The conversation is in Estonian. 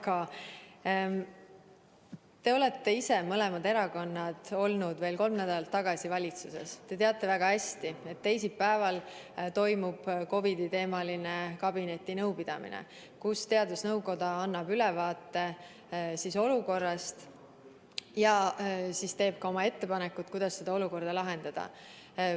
Aga te olite ise – mõlemad erakonnad – veel kolm nädalat tagasi valitsuses ja teate väga hästi, et teisipäeval toimub COVID-i teemal kabinetinõupidamine, kus teadusnõukoda annab ülevaate olukorrast ja teeb oma ettepanekud, kuidas olukorda lahendada.